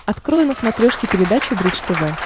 открой на смотрешке передачу бридж тв